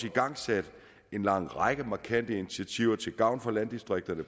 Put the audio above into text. igangsat en lang række markante initiativer til gavn for landdistrikterne